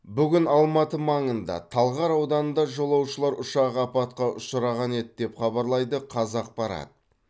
бүгін алматы маңында талғар ауданында жолаушылар ұшағы апатқа ұшыраған еді деп хабарлайды қазақпарат